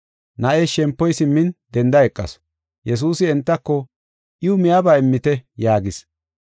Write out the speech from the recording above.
Na7ees shempoy simmin denda eqasu. Yesuusi entako, “Iwu miyaba immite” yaagis.